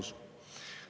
" Vastus.